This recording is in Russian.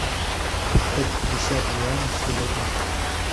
продать пятьдесят юаней сегодня